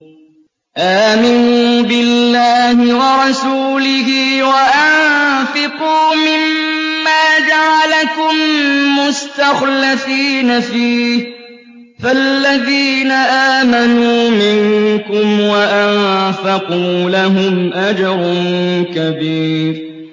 آمِنُوا بِاللَّهِ وَرَسُولِهِ وَأَنفِقُوا مِمَّا جَعَلَكُم مُّسْتَخْلَفِينَ فِيهِ ۖ فَالَّذِينَ آمَنُوا مِنكُمْ وَأَنفَقُوا لَهُمْ أَجْرٌ كَبِيرٌ